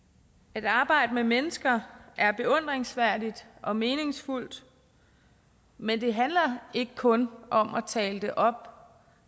at arbejde med mennesker er beundringsværdigt og meningsfuldt men det handler ikke kun om at tale det op